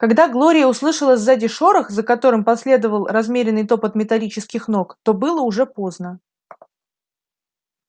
когда глория услышала сзади шорох за которым последовал размеренный топот металлических ног то было уже поздно